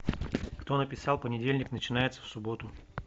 кто написал понедельник начинается в субботу